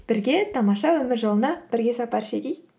бірге тамаша өмір жолына бірге сапар шегейік